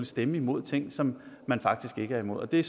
stemme imod ting som man faktisk ikke er imod det